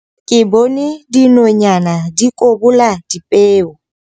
Ke bone dinonyana di kobola dipeo.